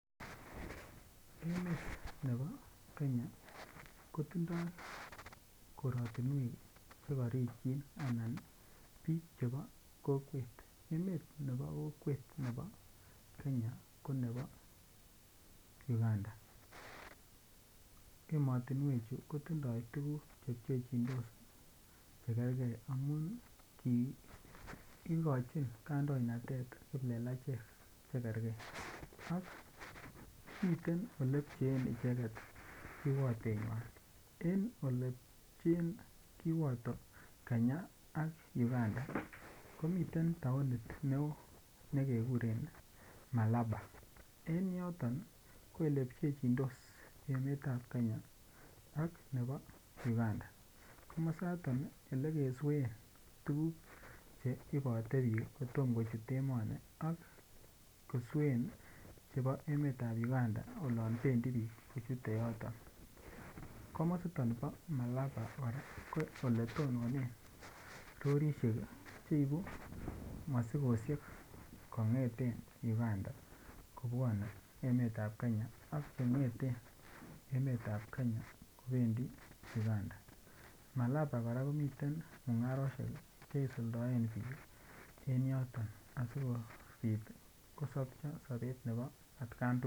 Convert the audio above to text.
Emet nebo Kenya ko tindoi korotinwek Che korikyin anan bik chebo kokwet emet nebo kokwet nebo Kenya ko nebo Uganda emotinwechu kotindoi tuguk Che pchechindos Che kerge amun kigochin kandoinatet kiplelachek Che kerge ak miten Ole pcheen icheget kiwotenywa en Ole pcheen kiwoto Kenya ak Uganda ko miten taonit neo ne kekuren malaba en yoton ko olepchechindos emet ab Kenya nebo Uganda komasato Ole keswen tuguk Che ibote bik kotom kochut emoni ak koswen chebo emet ab Uganda oloon bendi bik kochute yoton komasiton bo malaba kora ko ole tononen rorisiek Che ibu mosikosiek kongeten Uganda kobwone emetab Kenya ak Che ngeten emet ab Kenya kobendi Uganda malaba kora komiten mungarosiek Che isuldoen bik en yoton asi kobit kosopcho sobet nebo atkan tugul